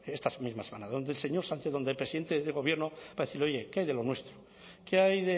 esta misma semana donde el señor sánchez donde el presidente del gobierno para decirle oye qué hay de lo nuestro qué hay